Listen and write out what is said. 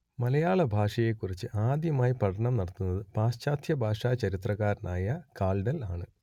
മലയാള ഭാഷയെക്കുറിച്ച് ആദ്യമായി പഠനം നടത്തുന്നത് പാശ്ചാത്യ ഭാഷാ ചരിത്രകാരനായ കാൾഡ്വെൽ ആണ്